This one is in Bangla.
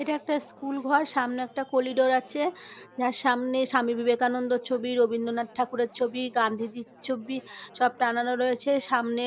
এটা একটা স্কুল ঘর সামনে একটা কলিডোর আছে । যার সামনে স্বামী বিবেকানন্দের ছবি রবীন্দ্রনাথ ঠাকুরের ছবি গান্ধিজির ছবি সব টানানো রয়েছে সামনে